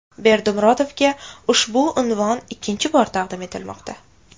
Berdimuhamedovga ushbu unvon ikkinchi bor taqdim etilmoqda.